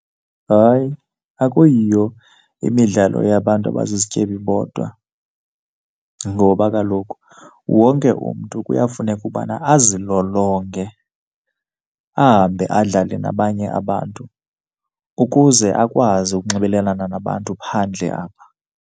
Hayi, akuyiyo imidlalo yabantu abazizityebi bodwa ngoba kaloku wonke umntu kuyafuneka ubana azilolonge, ahambe adlale nabanye abantu ukuze akwazi ukunxibelelana nabantu phandle apha.